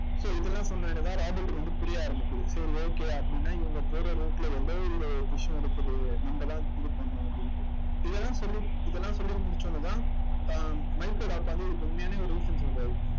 so இதெல்லாம் சொன்னவுடனே தான் ராபர்ட்க்கு வந்து புரிய ஆரம்பிக்குது. சரி okay அப்படின்னா இவங்க போற route ல ஏதோ ஒரு விஷயம் இருக்குது நம்மதான் இது பண்ணணும் அப்படின்னுட்டு இதெல்லாம் சொல்லி இதெல்லாம் சொல்லி முடிச்ச உடனேதான் அஹ் மைக்கோட அப்பா வந்து இதுக்கு உண்மையான ஒரு reason சொல்றாரு